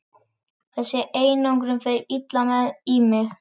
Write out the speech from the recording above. Þessi einangrun fer illa í mig.